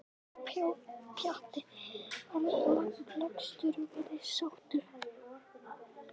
Pjatti var lagstur og virtist sáttur.